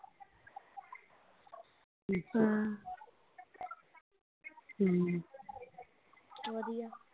ਹਾਂ ਹਮ ਵਧੀਆ